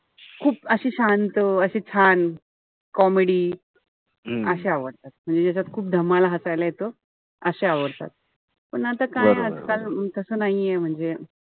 खूप अशी शांत अशी छान comedy अशे आवडतात. म्हणजे ज्याच्यात खूप धमाल हसायला येत. अशे आवडतात. पण आता काय आजकाल तस नाहीये. म्हणजे,